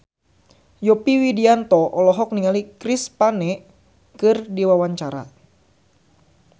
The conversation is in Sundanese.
Yovie Widianto olohok ningali Chris Pane keur diwawancara